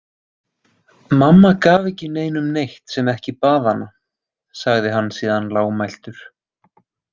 Mamma gaf ekki neinum neitt sem ekki bað hana, sagði hann síðan lágmæltur.